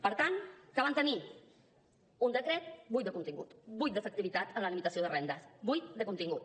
per tant què van tenir un decret buit de contingut buit d’efectivitat en la limitació de rendes buit de contingut